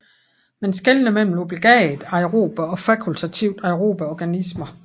Man skelner mellem obligat aerobe og fakultativt aerobe organismer